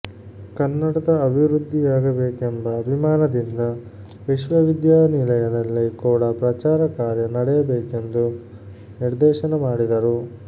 ಕನ್ನಡದ ಅಭಿವೃದ್ಧಿಯಾಗಬೇಕೆಂಬ ಅಭಿಮಾನದಿಂದ ವಿಶ್ವವಿದ್ಯಾನಿಲಯದಲ್ಲಿ ಕೂಡ ಪ್ರಚಾರ ಕಾರ್ಯ ನಡೆಯಬೇಕೆಂದು ನಿರ್ದೇಶನ ಮಾಡಿದರು